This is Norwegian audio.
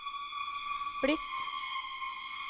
blitt